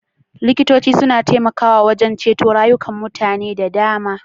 Likitoci sun taimaka wajen ceto rayukan mutane da dama.